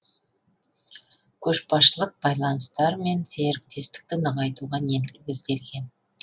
көшбасшылық байланыстар мен серіктестікті нығайтуға негізделген